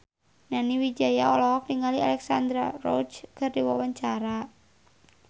Nani Wijaya olohok ningali Alexandra Roach keur diwawancara